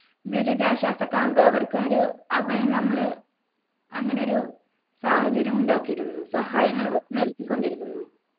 ദുരിതാശ്വാസ camp അവർക്ക് ഒരു അഭയം നമ്മളു അങ്ങനെ ഒരു സാഹചര്യമുണ്ടാക്കിയിരുന്നു സഹായങ്ങൾ നൽകിക്കൊണ്ടിരുന്നു